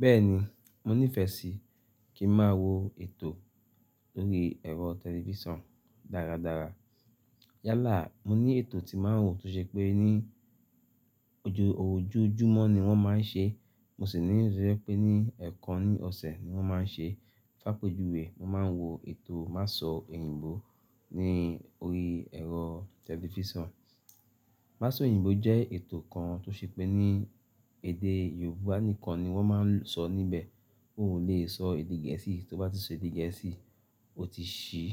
Bẹ́ẹ̀ni, mo nífẹ̀ẹ́ sí kí máa wo ètò lórí ẹ̀rọ tẹlifísàn dáradára. Yálà, mo ní ètò tí máa ń wò tó ṣe pé ní ojoojúmọ́ ni wón máa ń ṣe, mo sì ní iyi to je pé ní ẹ̀ẹ̀kan ní ọ̀sẹ̀ ni wón máa ń ṣe. Fápejuwe, mo máa ń wo ètò Masọ èyìǹbó ní orí ẹ̀rọ tẹlifísàn. Masọ oyìǹbó jẹ́ ètò kan tó ṣe pé ní èdè Yorùbá nìkan ni wón máa ń sọ níbẹ̀. Ó ò lè sọ èdè Gẹ̀ẹ́sì, tó bá ti sọ èdè Gẹ̀ẹ́sì, ó ti ṣí